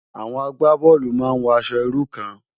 Awòn àgbábòlú má n wò ãṣò irú kàn